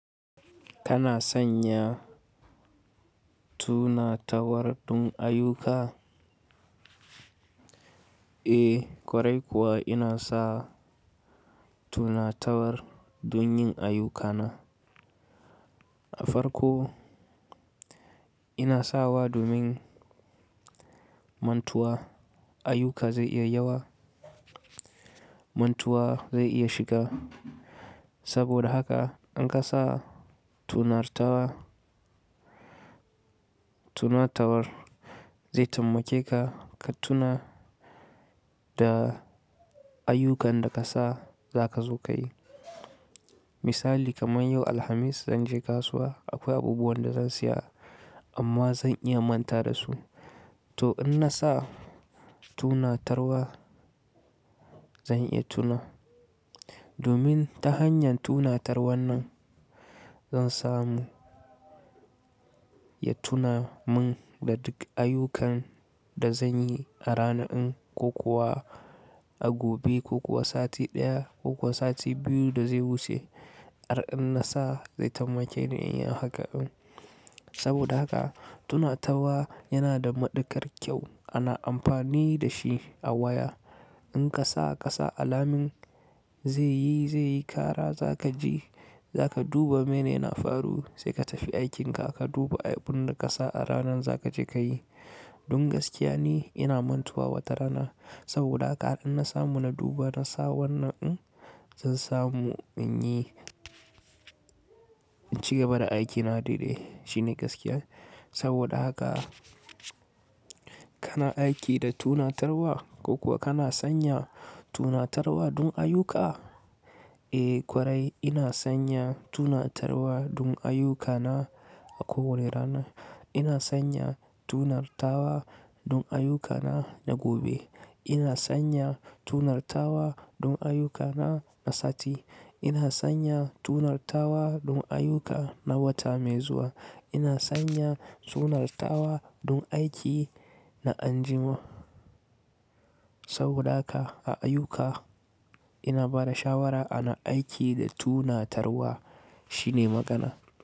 Kana sanya tunatarwar don ayyuka? Eh, ƙwarai kuwa ina sa tunatarwar don yin ayyukana. A farko ina sawa domin mantuwa ayyuka zai iya yawa, mantuwa zai iya shiga. Saboda haka in kasa tunartawa, tunatarwar zai taimakeka ka tuna da ayyukan da ka sa za ka zo ka yi. Misali kamar yau Alhamis zan je kasuwa, akwai abubuwan da zan siya amma zan iya manta da su. To in na sa tunatarwa zan iya tuna. Domin ta hanyar tunatarwar nan zan samu ya tuna mun da duk ayyukan da zan yi a rana'in ko kuwa a gobe ko kuwa sati ɗaya ko kuwa sati biyu da zai wuce. Ar in na sa zai taimake ni in yi haka. Saboda haka tunatarwa yana da maɗukar kyau ana amfani da shi a waya. In ka sa ƙasa alamin zai yi, zai yi kara za ka ji, za ka duba menene na faru sai ka tafi aikinka ka duba abun da ka sa a ranan za ka je ka yi. Don gaskiya ne ina mantuwa wata rana. Saboda haka ar in na samu na duba na sa wannan in zan samu in yi cigaba da aikina daidai. Shine gaskiya. Saboda haka kana aiki da tunatarwa ko kuwa kana sanya tunatarwa don ayuka? Eh ƙwarai ina sanya tunatarwa don ayyukana a kowane rana. Ina sanya tunartawa don ayyukana na gobe. Ina sanya tunartawa don ayukana na sati. Ina sanya tunartawa don ayuka na wata mai zuwa. Ina sanya tunartawa don aiki na anjima. Saboda haka a ayyuka ina bada shawara ana aiki da tunatarwa shine magana.